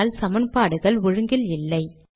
ஆனால் சமன்பாடுகள் ஒழுங்கில் இல்லை